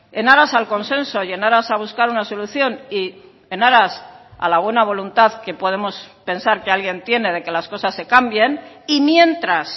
en aras al consenso y en aras a buscar una solución y en aras a la buena voluntad que podemos pensar que alguien tiene de que las cosas se cambien y mientras